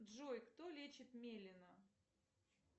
джой кто лечит мелина